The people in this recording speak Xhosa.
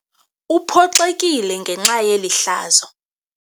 Uphoxekile ngenxa yeli hlazo.